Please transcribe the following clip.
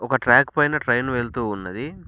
ఒక ట్రాక్ పైన ట్రైన్ వెళ్తూ ఉన్నది.